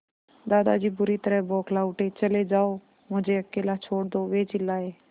दादाजी बुरी तरह बौखला उठे चले जाओ मुझे अकेला छोड़ दो वे चिल्लाए